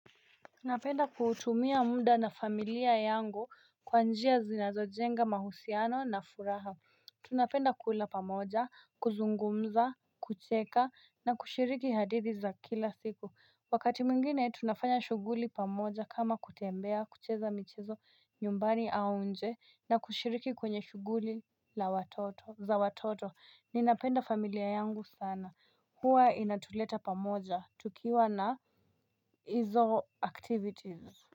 Napenda kuutumia muda na familia yangu kwa njia zinazo jenga mahusiano na furaha Tunapenda kula pamoja, kuzungumza, kucheka na kushiriki hadithi za kila siku Wakati mwngine tunafanya shughuli pamoja kama kutembea, kucheza michezo nyumbani au nje na kushiriki kwenye shughuli la watoto za watoto. Ninapenda familia yangu sana Huwa inatuleta pamoja tukiwa na hizo activities.